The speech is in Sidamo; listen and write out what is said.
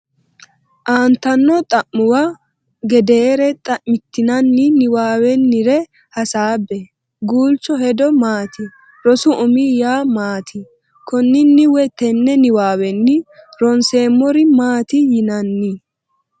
Aantanno xa’muwa gedeere xa’mitinanni niwaawennire hasaabbe Guulchu hedo maati? Rosu umi yaa maati? Konninni woy tenne niwaawenni ronseemmori maati yinaani?